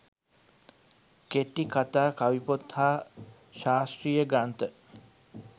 කෙටිකථා කවිපොත් හා ශාස්ත්‍රීය ග්‍රන්ථ